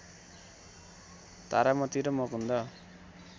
तारामती र मुकुन्द